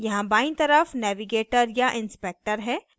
यहाँ बाईं तरफ navigator या inspector है